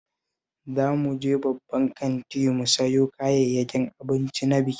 Za mu je babban kanti mu sayo kayayyakin abinci na bikin